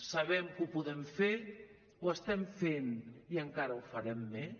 sabem que ho podem fer ho estem fent i encara ho farem més